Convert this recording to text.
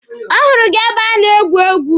Ọ hụrụ gị ebe a na-egwu egwu?